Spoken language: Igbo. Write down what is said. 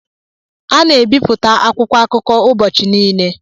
A na-ebipụta akwụkwọ akụkọ ụbọchị niile.